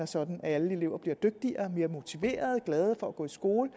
sådan at alle elever bliver dygtigere mere motiverede og gladere for at gå i skole